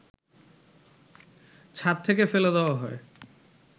ছাদ থেকে ফেলে দেয়া হয়